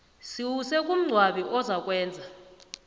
siwuse kungcwabi ozakwenza